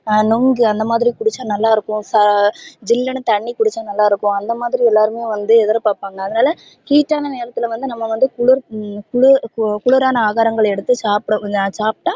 ஹம் நொங்கு அந்த மாதிரி குடிச்சா நல்லா இருக்கும் ஹம் சில்லினு தண்ணி குடிச்சா நல்லா இருக்கும் அந்த மாதிரி எல்லாரும் வந்து எதிர் பாப்பாங்க அதுனால heat டானா நேரத்துல வந்து நம்ப வந்து குளூர குளூரான ஆகாரங்கள் எடுத்து சாப்ட சாப்டா